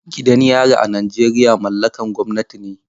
Gidan yari a Najeriya mallakan gwamnati ne.